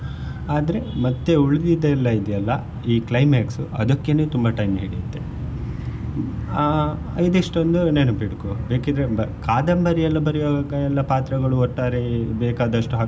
ಆದ್ರೆ ಮತ್ತೆ ಉಳ್ದಿದ್ದೆಲ್ಲಾ ಇದೆ ಅಲ್ಲಾ ಈ climax ಅದಿಕ್ಕೇನೆ ತುಂಬಾ time ಹಿಡಿಯುತ್ತೇ ಆ ಇದಿಷ್ಟೂ ಒಂದು ನೆನ್ಪ ಇಡ್ಕೊ ಬೇಕಿದ್ರೆ ಕಾದಂಬರಿ ಎಲ್ಲ ಬರಿಯುವಾಗ ಎಲ್ಲ ಪಾತ್ರಗಳು ಒಟ್ಟಾರೆ ಬೇಕಾದಷ್ಟು ಹಾಕ್ಬಹುದು.